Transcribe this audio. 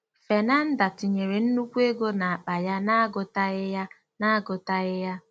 * Fernanda tinyere nnukwu ego n'akpa ya n'agụtaghị ya n'agụtaghị ya.